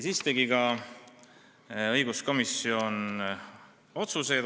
Siis tegi õiguskomisjon ka otsused.